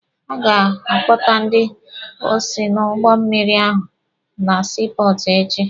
A ga-akpọta ndị osi n'ụgbọ mmịrị ahụ na sii pọọtụ echi.